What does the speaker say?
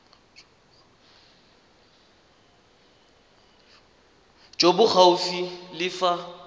jo bo gaufi le fa